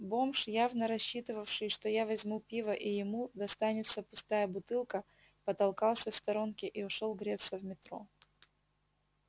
бомж явно рассчитывавший что я возьму пива и ему достанется пустая бутылка потолкался в сторонке и ушёл греться в метро